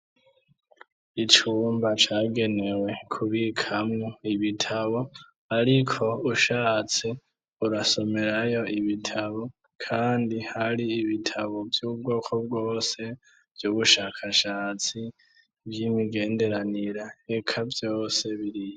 Icumba cagenewe kubikamwo ibitabo ariko ushatse urasomerayo ibitabo, kandi hari ibitabo vy'ubwoko bwose, vy'ubushakashatsi, vy'imigenderanira, eka byose biriyo.